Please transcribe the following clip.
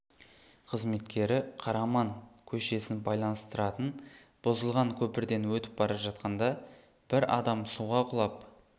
қызметкері қараман көшесін байланыстыратын бұзылған көпірден өтіп бара жатқанда бір адам суға құлап